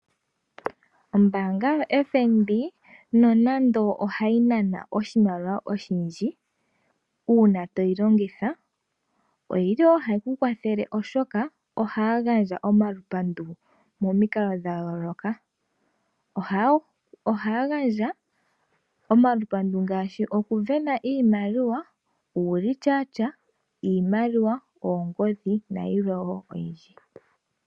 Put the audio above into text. Ombaanga yoFNB nonande ohayi nana oshimaliwa oshindji uuna toyi longitha, oyili woo hayi kukwathele oshoka ohaagandja omalupandu momikalo dhayoloka, ohaya gandja omalupandu ngaashi okuvena iimaliwa, uulityatya, iimaliwa, oongodhi nayilwe wo.